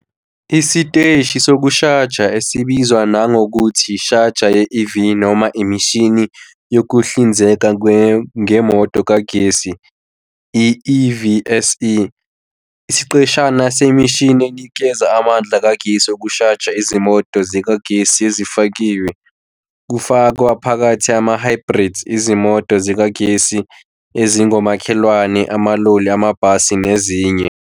Isiteshi sokushaja, esibizwa nangokuthi ishaja ye-EV noma imishini yokuhlinzeka ngemoto kagesi, i- EVSE, isiqeshana semishini enikeza amandla kagesi wokushaja izimoto zikagesi ezifakiwe, kufaka phakathi ama-hybrids, izimoto zikagesi ezingomakhelwane, amaloli, amabhasi, nezinye.